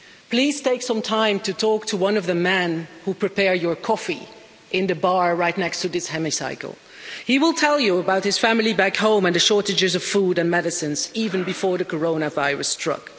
Please take some time to talk to one of the men who prepare your coffee in the bar right next to this hemicycle. He will tell you about his family back home and the shortages of food and medicines, even before the coronavirus struck.